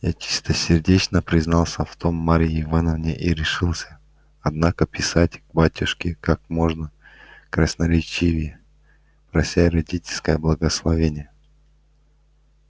я чистосердечно признался в том марье ивановне и решился однако писать к батюшке как можно красноречивее прося родительского благословения